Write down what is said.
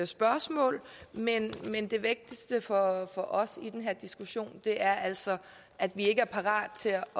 spørgsmål men men det vigtigste for for os i den her diskussion er altså at vi ikke er parate til at